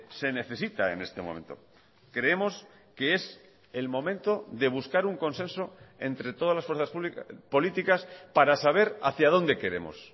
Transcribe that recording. se necesita en este momento creemos que es el momento de buscar un consenso entre todas las fuerzas políticas para saber hacia dónde queremos